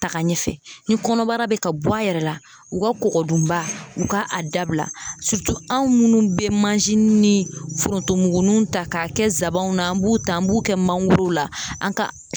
Be ka taga ɲɛfɛ ni kɔnɔbara be ka bɔ a yɛrɛ la u ka kɔkɔ dunba u ka a dabila surutu anw munnu be manzini ni forontomugunuw ta k'a kɛ sabanw na an b'u ta an b'u kɛ mangorow la an ka